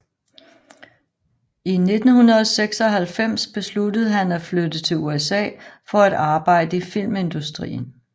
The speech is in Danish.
I 1996 besluttede han at flytte til USA for at arbejde i filmindustrien